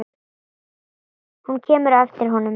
Hún kemur á eftir honum.